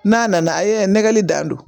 N'a nana a ye nɛgɛli dan don